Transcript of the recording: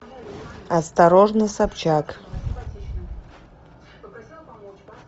осторожно собчак